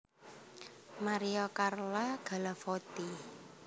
Maria Carla Galavotti